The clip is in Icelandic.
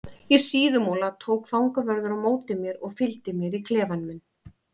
Í Síðumúla tók fangavörður á móti mér og fylgdi mér í klefa minn.